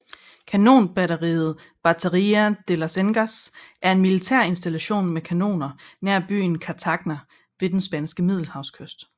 Kanonbatteriet Bateria de las Cenizas er en militær installation med kanoner nær byen Cartagena ved den spanske middelhavskyst